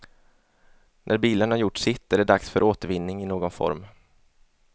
När bilen har gjort sitt är det dags för återvinning i någon form.